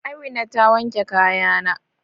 Amina ta wanke kayana?